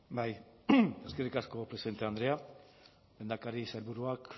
bai eskerrik asko presidente andrea lehendakari sailburuak